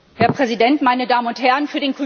Herr Präsident, meine Damen und Herren!